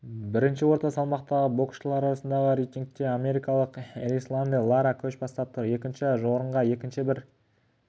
бірінші орта салмақтағы боксшылар арасындағы рейтингте америкалық эрисланди лара көш бастап тұр екінші орынға екінші бір